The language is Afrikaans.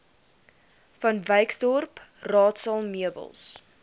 vanwyksdorp raadsaal meubels